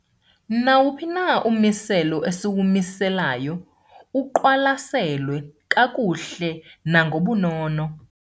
Nawuphi na ummiselo esiwumiselayo uqwalaselwe kakuhle nangobunono.